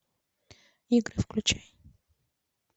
игры включай